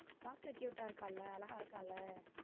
பாக்க cute ஆ இருக்கான்ல அழகா இருக்கான்ல.